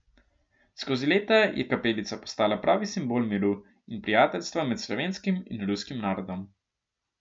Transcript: Skozi leta je kapelica postala pravi simbol miru in prijateljstva med slovenskim in ruskim narodom.